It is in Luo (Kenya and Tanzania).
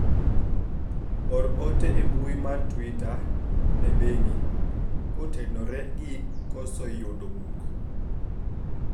or ote e mbui mar twita ne bengi kotenore gi koso yudo buk